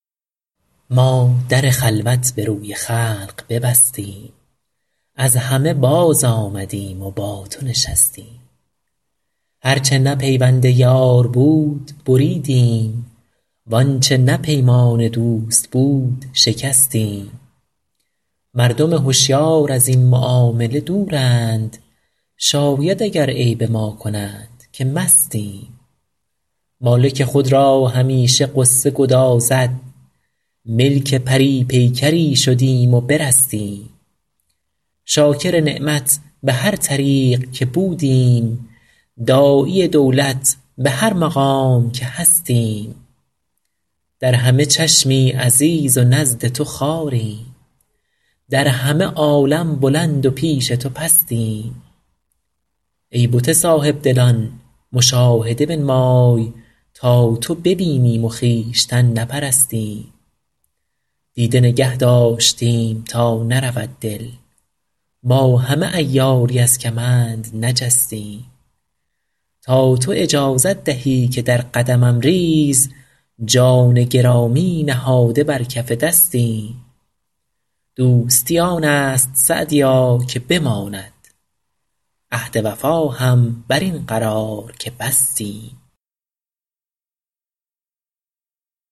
ما در خلوت به روی خلق ببستیم از همه بازآمدیم و با تو نشستیم هر چه نه پیوند یار بود بریدیم وآنچه نه پیمان دوست بود شکستیم مردم هشیار از این معامله دورند شاید اگر عیب ما کنند که مستیم مالک خود را همیشه غصه گدازد ملک پری پیکری شدیم و برستیم شاکر نعمت به هر طریق که بودیم داعی دولت به هر مقام که هستیم در همه چشمی عزیز و نزد تو خواریم در همه عالم بلند و پیش تو پستیم ای بت صاحب دلان مشاهده بنمای تا تو ببینیم و خویشتن نپرستیم دیده نگه داشتیم تا نرود دل با همه عیاری از کمند نجستیم تا تو اجازت دهی که در قدمم ریز جان گرامی نهاده بر کف دستیم دوستی آن است سعدیا که بماند عهد وفا هم بر این قرار که بستیم